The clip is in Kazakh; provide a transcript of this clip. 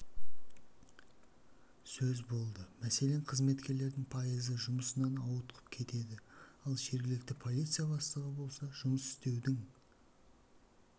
сөз болды мәселен қызметкерлердің пайызы жұмысынан ауытқып кетеді ал жергілікті полиция бастығы болса жұмыс істеудің